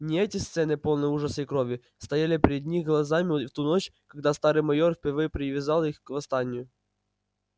не эти сцены полные ужаса и крови стояли пред их глазами в ту ночь когда старый майер впервые призвал их к восстанию